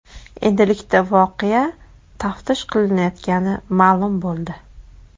Endilikda voqea taftish qilinayotgani ma’lum bo‘ldi.